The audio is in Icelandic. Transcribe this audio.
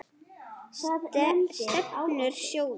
Stefnur sjóða